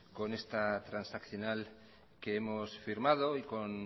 con esta transaccional que hemos firmado y con